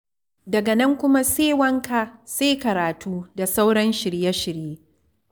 Daga nan kuma sai wanka, sai karatu, da sauran shirye-shirye.